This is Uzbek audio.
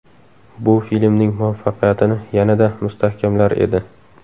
Bu filmning muvaffaqiyatini yanada mustahkamlar edi.